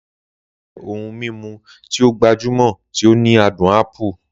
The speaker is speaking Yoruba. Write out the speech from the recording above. La Casera jẹ́ ohun mímu tí ó gbajúmọ̀ tí ó ní adùn ápù.